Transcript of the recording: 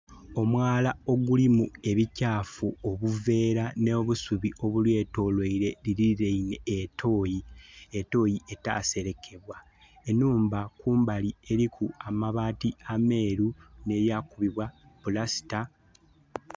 Omwala ogulimu ebikyafu obuvera nho busubi obulyetolweire, lilinheinhe etoyi etoyi etaselekebwa. Enhumba kumbali eliku amabaati ameru nhe ya kubibwa pulasita.